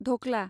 धक्ला